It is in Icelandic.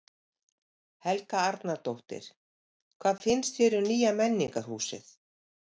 Helga Arnardóttir: Hvað finnst þér um nýja menningarhúsið?